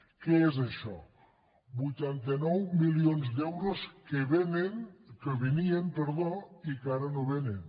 què és això vuitanta nou milions d’euros que venien i que ara no vénen